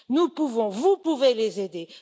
Nous pouvons, vous pouvez les aider.